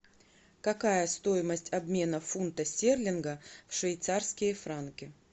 какая стоимость обмена фунта стерлинга в швейцарские франки